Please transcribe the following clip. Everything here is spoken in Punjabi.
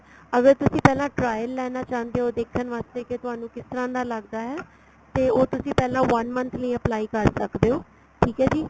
ਅਗਰ ਤੁਸੀਂ ਪਹਿਲਾਂ trial ਲੈਣਾ ਚਾਉਂਦੇ ਹੋ ਦੇਖਣ ਵਾਸਤੇ ਕੀ ਤੁਹਾਨੂੰ ਕਿਸ ਤਰ੍ਹਾਂ ਦਾ ਲੱਗਦਾ ਏ ਤੇ ਉਹ ਤੁਸੀਂ ਪਹਿਲਾਂ one month ਲਈ apply ਕਰ ਸਕਦੇ ਓ ਠੀਕ ਏ ਜੀ